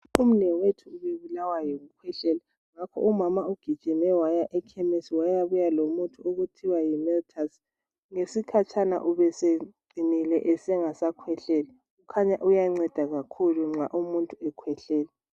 Umnewethu ubebulawa yikukhwehlela, ngakho umama ugijime waya ekhemesi wayabuya lomuthi okuthiwa yimeltus. Ngesikhatshana ubeseqinilile esengasakhwehleli. Khanya uyanceda kakhulu nxa umuntu ekhwehlela.